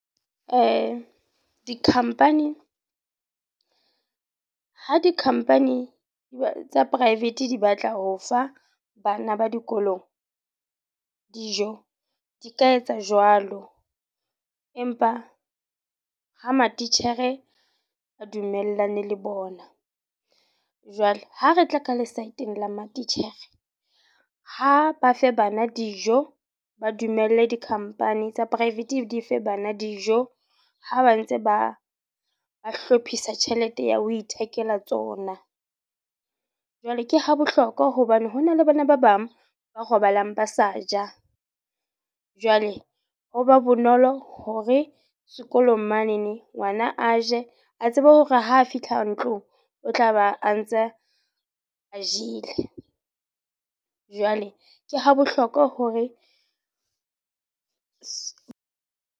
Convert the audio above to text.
Di-company. Ha di-company tsa private di batla ho fa bana ba dikolong dijo. Di ka etsa jwalo. Empa ha matitjhere a dumellane le bona. Jwale ha re tla ka le saeteng la matitjhere, ha ba fe bana dijo. Ba dumelle di-company tsa private di fe bana dijo. Ha ba ntse ba ba hlophisa tjhelete ya ho ithekela tsona. Jwale ke ha bohlokwa hobane hona le bana ba bang ba robalang ba sa ja. Jwale ho ba bonolo hore sekolong manene ngwana a je, a tsebe hore ho fitlha ntlong o tla ba a ntse a jele. Jwale ke ha bohlokwa hore .